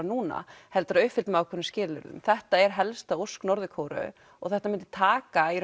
núna heldur að uppfylltum einhverjum skilyrðum þetta er helsta ósk Norður Kóreu og þetta myndi taka í